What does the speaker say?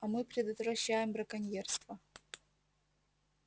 а мы предотвращаем браконьерство